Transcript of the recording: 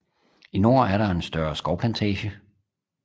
I nord er der et større skovplantage